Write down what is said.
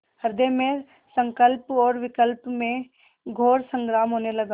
हृदय में संकल्प और विकल्प में घोर संग्राम होने लगा